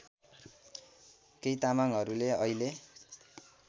केही तामाङहरूले अहिले